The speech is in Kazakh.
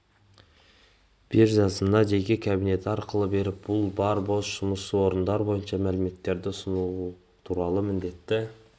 қажетті қызметкерді іздеудің барлық үдерістері кәсіпкерлермен өзара белсенді және нақты байланысқа өтумен сүйемелденеді компанияларға тек жұмыспен